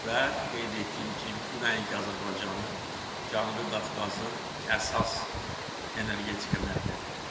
Və qeyd etdiyim kimi, bu nəinki Azərbaycanın, Cənubi Qafqazın əsas energetika mərkəzidir.